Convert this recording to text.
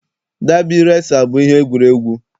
Dabi resa bụ ihe egwuregwu.